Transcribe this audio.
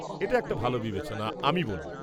এটা একটা ভাল বিবেচনা, আমি বলব।